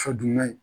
Fa duman ye